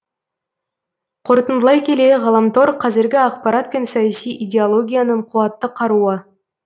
қорытындылай келе ғаламтор қазіргі ақпарат пен саяси идеологияның қуатты қаруы